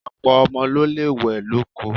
Ọ̀pọ̀ ọmọ ló lè wẹ̀ lóko.